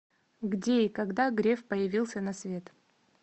где и когда греф появился на свет